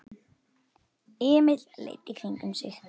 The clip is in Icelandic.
Emil leit í kringum sig.